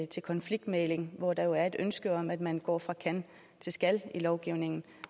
til konfliktmægling hvor der er et ønske om at man går fra kan til skal i lovgivningen